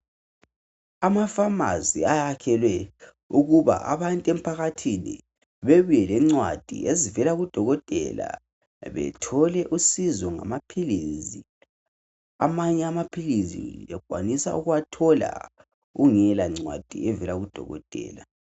Amafamasi ayakhelwe ukuba abantu emphakathini bebe lencwadi ezivela kudokotela bethole usizo ngamaphilisi. Amanye amaphilisi uyakwanisa ukuwathola ungela ncwadi evela kudokotela.